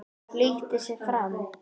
Flýtti sér fram.